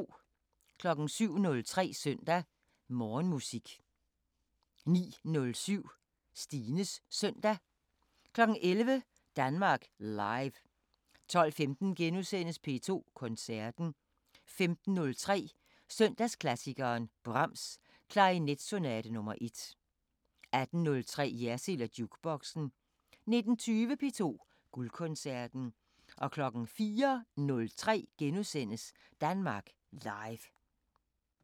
07:03: Søndag Morgenmusik 09:07: Stines Søndag 11:03: Danmark Live 12:15: P2 Koncerten * 15:03: Søndagsklassikeren – Brahms: Klarinetsonate nr. 1 18:03: Jersild & Jukeboxen 19:20: P2 Guldkoncerten 04:03: Danmark Live *